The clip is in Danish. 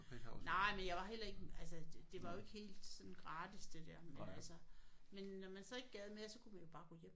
Nej men jeg var heller ikke altså det var jo ikke helt sådan gratis det der men altså men når man så ikke gad mere så kunne man jo bare gå hjem